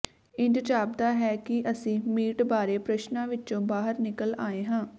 ਇੰਝ ਜਾਪਦਾ ਹੈ ਕਿ ਅਸੀਂ ਮੀਟ ਬਾਰੇ ਪ੍ਰਸ਼ਨਾਂ ਵਿੱਚੋਂ ਬਾਹਰ ਨਿਕਲ ਆਏ ਹਾਂ